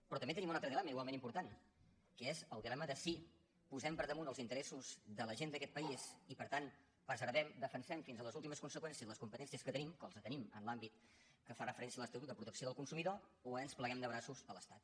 però també tenim un altre dilema igualment important que és el dilema de si posem per damunt els interessos de la gent d’aquest país i per tant preservem defensem fins a les últimes conseqüències les competències que tenim que les tenim en l’àmbit que fa referència a l’estatut de protecció del consumidor o ens pleguem de braços a l’estat